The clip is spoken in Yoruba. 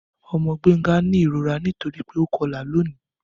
Ọmọ Gbenga ni irora nitori pe o kọla loni.